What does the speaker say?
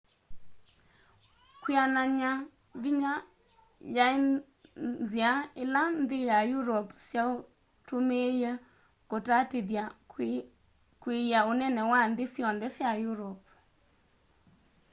kwĩanany'a vinya yaĩ nthĩa ĩla nthĩ sya europe syatũmĩie kũtatĩthya kwiia ũnene wa nthĩ syonthe sya europe